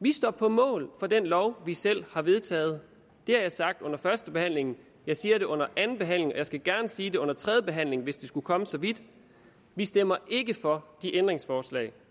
vi står på mål for den lov vi selv har vedtaget det har jeg sagt under førstebehandlingen jeg siger det under andenbehandlingen og jeg skal gerne sige det under tredjebehandlingen hvis det skulle komme så vidt vi stemmer ikke for de ændringsforslag